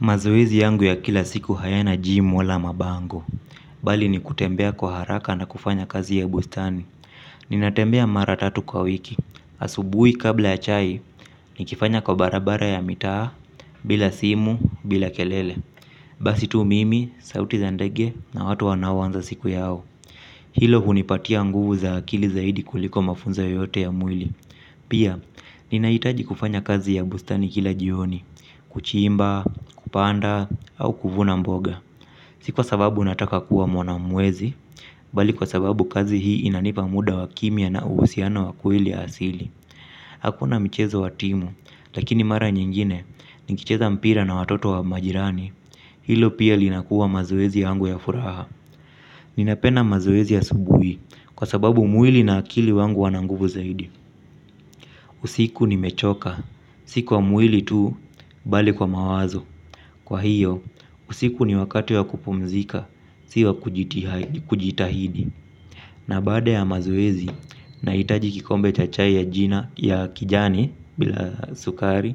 Mazoezi yangu ya kila siku hayana jimu wala mabango, bali ni kutembea kwa haraka na kufanya kazi ya bustani. Ninatembea mara tatu kwa wiki, asubui kabla ya chai, nikifanya kwa barabara ya mitaa, bila simu, bila kelele. Basi tu mimi, sauti za ndege na watu wano anza siku yao. Hilo hunipatia nguvu za akili zaidi kuliko mafunzo yoyote ya mwili. Pia, ninahitaji kufanya kazi ya bustani kila jioni, kuchimba, kupanda, au kuvuna mboga. Si kwa sababu nataka kuwa mwana mwezi, bali kwa sababu kazi hii inanipa muda wa kimya na uhusiano wa kweli asili. Hakuna michezo wa timu, lakini mara nyingine, nikicheza mpira na watoto wa majirani, hilo pia linakuwa mazoezi yangu ya furaha. Ninapenda mazoezi ya asubuhi, kwa sababu mwili na akili wangu huwa na nguvu zaidi. Usiku nimechoka, sikwa mwili tu, bali kwa mawazo. Kwa hiyo, usiku ni wakatu wa kupumzika, si wa kujitahidi. Na baada ya mazoezi, na hitaji kikombe cha chai ya kijani, bila sukari.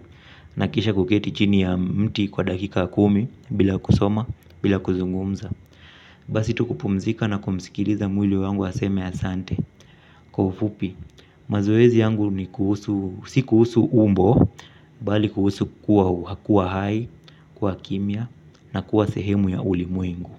Na kisha kuketi chini ya mti kwa dakika kumi, bila kusoma, bila kuzungumza. Basi tu kupumzika na kumsikiliza mwili wangu aseme asante. Kwa ufupi, mazoezi yangu ni kuhusu, si kuhusu umbo, bali kuhusu kuwa hu, kuwa hai, kuwa kimya, na kuwa sehemu ya ulimwengu.